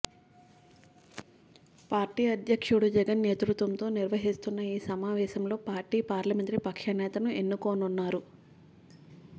party అధ్యక్షుడు జగన్ నేతృత్వంలో నిర్వహిస్తున్న ఈ సమావేశంలో పార్టీ పార్లమెంటరీ పక్ష నేతను ఎన్నుకోనున్నారు